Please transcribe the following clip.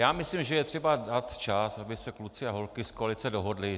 Já myslím, že je třeba dát čas, aby se kluci a holky z koalice dohodli.